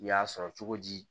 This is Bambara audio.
U y'a sɔrɔ cogo di